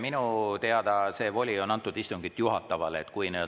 Minu teada see voli on antud istungit juhatavale inimesele.